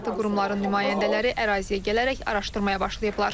Aidiyyəti qurumların nümayəndələri əraziyə gələrək araşdırmaya başlayıblar.